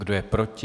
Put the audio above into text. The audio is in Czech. Kdo je proti?